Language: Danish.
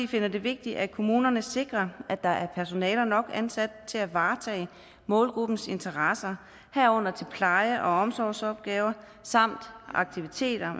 finder det vigtigt at kommunerne sikrer at der er personale nok ansat til at varetage målgruppens interesser herunder til pleje og omsorgsopgaver samt aktiviteter